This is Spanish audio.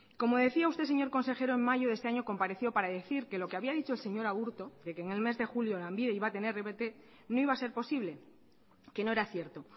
como decía usted señor consejero en mayo de este año compareció para decir que lo había dicho el señor agurto que en el mes de julio lanbide iba a tener rpt no iba a ser posible que no era cierto